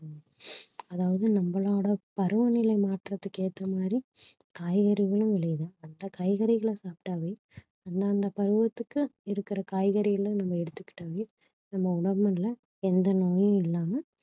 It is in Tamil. அதாவது நம்மளோட பருவநிலை மாற்றத்திற்கு ஏற்ற மாதிரி காய்கறிகளும் விளையுது அந்த காய்கறிகளை சாப்பிட்டாவே அந்தந்த பருவத்துக்கு இருக்கிற காய்கறிகளை நம்ம எடுத்துக்கிட்டாவே நம்ம எந்த நோயும் இல்லாம